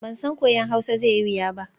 Ban san koyon Hausa zai yi wuya ba.